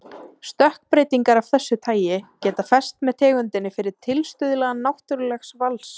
Stökkbreytingar af þessu tagi geta fest með tegundinni fyrir tilstuðlan náttúrlegs vals.